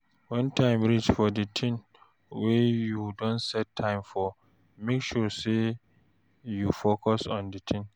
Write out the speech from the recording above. When time reach for di thing wey you don set time for, make sure sey you focus on di thing